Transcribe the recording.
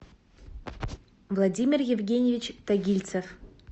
владимир евгеньевич тагильцев